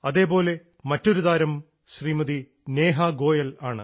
അതേപോലെ മറ്റൊരു താരം ശ്രീമതി നേഹാ ഗോയൽ ആണ്